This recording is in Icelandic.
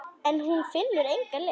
En hún finnur enga lykt.